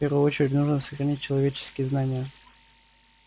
в первую очередь нужно сохранить человеческие знания